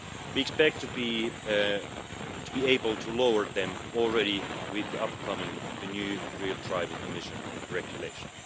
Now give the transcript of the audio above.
We expect to be able to lower them already with the upcoming new real driving emission regulation.